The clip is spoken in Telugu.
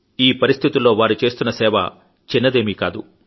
ఈ పరిస్థితుల్లో వారు చేస్తున్న సేవ చిన్నదేమీ కాదు